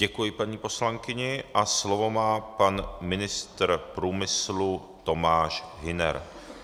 Děkuji paní poslankyni a slovo má pan ministr průmyslu Tomáš Hüner.